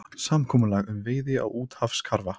Samkomulag um veiði á úthafskarfa